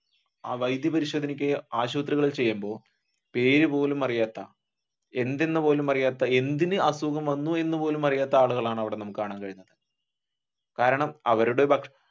വൈദ്യ പരിശോധനക്ക് ആശുപത്രികളിൽ ചെയ്യുമ്പോൾ പേരുപോലും അറിയാത്ത എന്തെന്നും പോലുമറിയാത്ത എന്തിനു അസുഖം വന്നു എന്നുപോലും അറിയാത്ത ആളുകളാണ് അവിടെ നമ്മുക്ക് കാണാൻ കഴിയുന്നത് കാരണം അവരുടെ